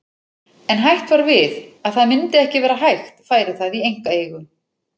En hætt var við að það myndi ekki vera hægt færi það í einkaeigu.